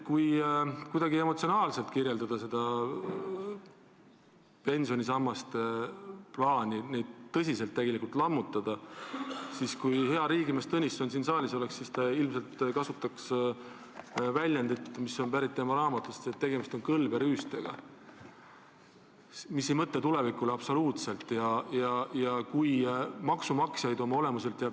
Kui püüda kuidagi emotsionaalselt kirjeldada seda plaani pensionisambaid tõsiselt lammutada, siis kui hea riigimees Tõnisson siin saalis oleks, siis ta ilmselt kasutaks väljendit, mis on pärit tema raamatust: tegemist on kõlberüüstega, mille puhul ei mõelda tulevikule absoluutselt.